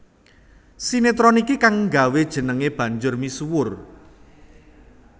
Sinetron iki kang nggawé jenengé banjur misuwur